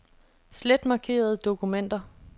Slet markerede dokumenter.